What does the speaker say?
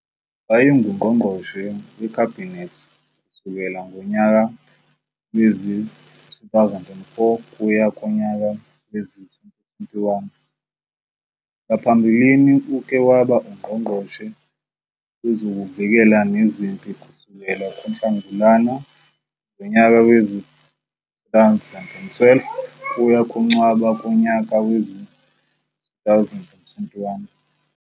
Wayengu Ngqongqoshe WeKhabhinethi kusukela ngonyaka wezi-2004 kuya kunyaka wezi-2021, ngaphambilini uke wabauNgqongqoshe Wezokuvikela Nezempi kusukela kuNhlangulana ngonyaka wezi-2012 kuya kuNcwaba kunyaka wezi- 2021.